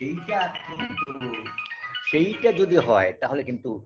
এইটা কিন্তু সেইটা যদি হয় তাহলে কিন্তু